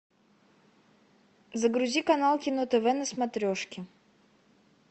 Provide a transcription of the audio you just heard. загрузи канал кино тв на смотрешке